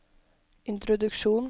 introduksjon